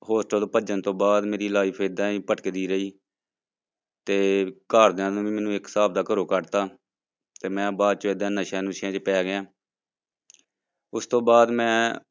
Hostel ਭੱਜਣ ਤੋਂ ਬਾਅਦ ਮੇਰੀ life ਏਦਾਂ ਹੀ ਭਟਕਦੀ ਰਹੀ ਤੇ ਘਰਦਿਆਂ ਨੇ ਵੀ ਮੈਨੂੰ ਇਕ ਹਿਸਾਬ ਦਾ ਘਰੋਂ ਕੱਢ ਦਿੱਤਾ ਤੇ ਮੈਂ ਬਾਅਦ ਚ ਏਦਾਂ ਨਸ਼ਿਆਂ ਨੁਸ਼ਿਆਂ ਵਿੱਚ ਪੈ ਗਿਆ ਉਸ ਤੋਂ ਬਾਅਦ ਮੈਂ